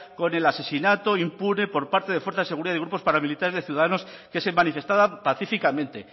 con el asesinato impune por parte de fuerzas de seguridad y grupos paramilitares de ciudadanos que se manifestaban pacíficamente